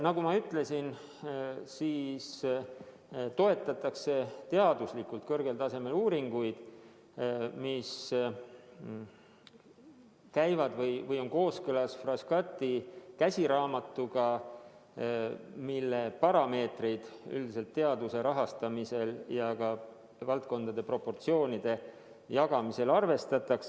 Nagu ma ütlesin, toetatakse teaduslikult kõrgel tasemel uuringuid, mis on kooskõlas Frascati käsiraamatuga, kus toodud parameetreid üldiselt teaduse rahastamisel ja ka valdkondade proportsioonide kujundamisel arvestatakse.